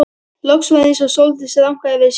Loks var eins og Sóldís rankaði við sér.